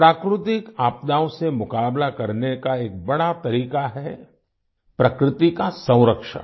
प्राकृतिक आपदाओं से मुकाबला करने का एक बड़ा तरीका है प्रकृति का संरक्षण